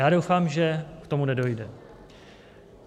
Já doufám, že k tomu nedojde.